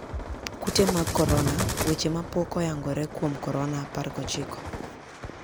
Kute mag korona: weche mapok oyangore kuom Korona 19.